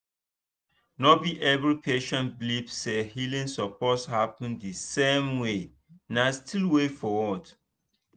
no be every patient believe say healing suppose happen the same way na still way foward